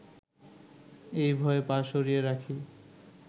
এই ভয়ে পা সরিয়ে রাখি